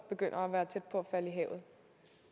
begynder at være tæt på at falde have